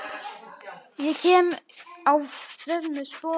Ég kem að vörmu spori.